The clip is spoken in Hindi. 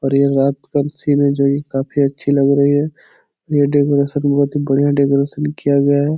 और ये रात का सीन है | जगह काफी अच्छी लग रही है । ये डेकोरेशन बहुत ही बढ़िया डेकोरेशन किया गया है ।